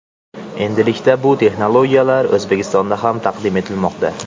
Endilikda, bu texnologiyalar O‘zbekistonda ham taqdim etilmoqda.